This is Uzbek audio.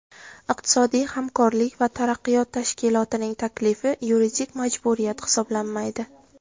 Iqtisodiy hamkorlik va taraqqiyot tashkilotining taklifi yuridik majburiyat hisoblanmaydi.